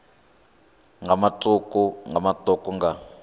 nga matuku nga matuku nga